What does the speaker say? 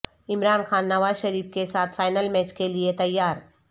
عمران خان نواز شریف کے ساتھ final match کے لئے تیار